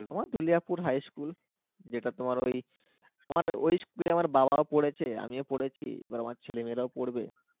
আমার Jwaliapur High School যেটা তোমার ওই তোমার ওই school এ আমার বাবাও পড়েছে আমিও পড়েছি আবার আমার ছেলে-মেয়েরাও পড়বে